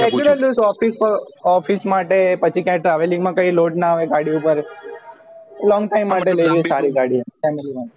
office માટે પછી ક્યાંક traveling મા કયી load ના આવે ગાડી ઉપર long time માટે લેવી સારી ગાડી family માટે